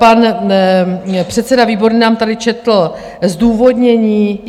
Pan předseda Výborný nám tady četl zdůvodnění.